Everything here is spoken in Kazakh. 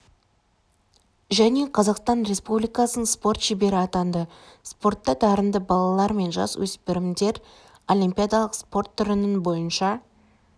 және қазақстан республикасының спорт шебері атанды спортта дарынды балалар мен жасөспірімдер олимпиадалық спорт түрінің бойынша